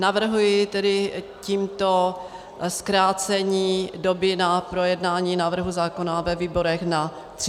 Navrhuji tedy tímto zkrácení doby na projednání návrhu zákona ve výborech na 30 dnů.